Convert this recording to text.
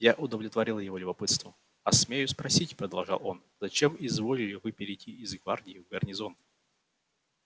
я удовлетворил его любопытству а смею спросить продолжал он зачем изволили вы перейти из гвардии в гарнизон